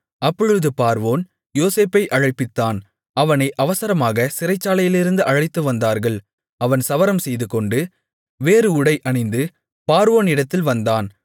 அப்பொழுது பார்வோன் யோசேப்பை அழைப்பித்தான் அவனை அவசரமாகச் சிறைச்சாலையிலிருந்து அழைத்துவந்தார்கள் அவன் சவரம் செய்துகொண்டு வேறு உடை அணிந்து பார்வோனிடத்தில் வந்தான்